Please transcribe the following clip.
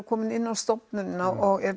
kominn inn á stofnunina og